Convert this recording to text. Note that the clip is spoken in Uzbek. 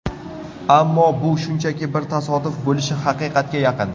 Ammo bu shunchaki bir tasodif bo‘lishi haqiqatga yaqin.